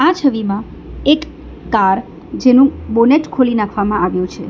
આ છવિમાં એક કાર જેનુ બોનેટ ખોલી નાખવામાં આવ્યુ છે.